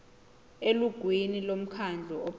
elungwini lomkhandlu ophethe